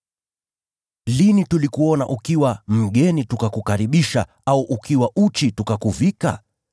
Lini tulikuona ukiwa mgeni tukakukaribisha, au ukiwa uchi tukakuvika?